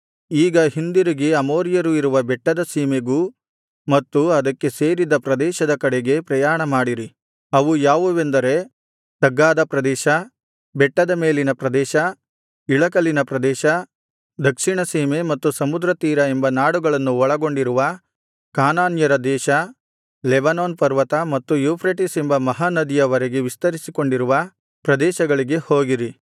ಈಗ ಹಿಂದಿರುಗಿ ಅಮೋರಿಯರು ಇರುವ ಬೆಟ್ಟದ ಸೀಮೆಗೂ ಮತ್ತು ಅದಕ್ಕೆ ಸೇರಿದ ಪ್ರದೇಶದ ಕಡೆಗೆ ಪ್ರಯಾಣಮಾಡಿರಿ ಅವು ಯಾವುವೆಂದರೆ ತಗ್ಗಾದ ಪ್ರದೇಶ ಬೆಟ್ಟದ ಮೇಲಿನ ಪ್ರದೇಶ ಇಳಕಲಿನ ಪ್ರದೇಶ ದಕ್ಷಿಣಸೀಮೆ ಮತ್ತು ಸಮುದ್ರತೀರ ಎಂಬ ನಾಡುಗಳನ್ನು ಒಳಗೊಂಡಿರುವ ಕಾನಾನ್ಯರ ದೇಶ ಲೆಬನೋನ್ ಪರ್ವತ ಮತ್ತು ಯೂಫ್ರೆಟಿಸ್ ಎಂಬ ಮಹಾನದಿಯ ವರೆಗೆ ವಿಸ್ತರಿಸಿಕೊಂಡಿರುವ ಪ್ರದೇಶಗಳಿಗೆ ಹೋಗಿರಿ